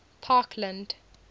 parkland